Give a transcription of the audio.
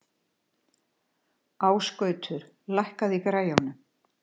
Ásgautur, lækkaðu í græjunum.